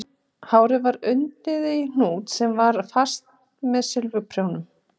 Hárið var undið í hnút sem var festur með silfurprjónum